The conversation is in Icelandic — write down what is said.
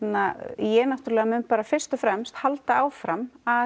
ég náttúrulega mun fyrst og fremst halda áfram að